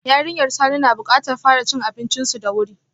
Yarinyar Sani na bukatar fara cin abincinsu da wuri.